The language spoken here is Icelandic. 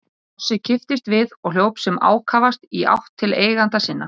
Hrossið kipptist við og hljóp sem ákafast í átt til eigenda sinna.